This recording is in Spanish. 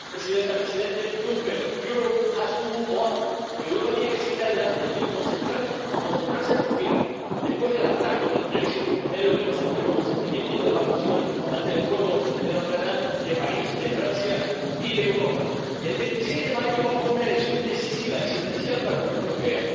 Señora presidenta, presidente Juncker, Europa tiene que seguir adelante y concentrarse por fin, después del hartazgo del en lo que nos une, como el sentimiento de devastación ante el fuego de Notre-Dame de París, de Francia y de Europa. El 26 de mayo vamos a una elección decisiva, existencial para la Unión Europea.